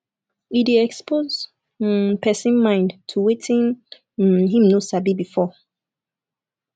e de expose um persin mind to wetin um im no sabi before